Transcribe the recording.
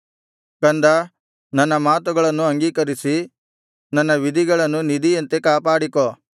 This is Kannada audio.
ಕಂದಾ ನನ್ನ ಮಾತುಗಳನ್ನು ಅಂಗೀಕರಿಸಿ ನನ್ನ ವಿಧಿಗಳನ್ನು ನಿಧಿಯಂತೆ ಕಾಪಾಡಿಕೋ